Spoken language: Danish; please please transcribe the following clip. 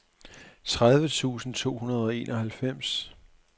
tredive tusind to hundrede og enoghalvfems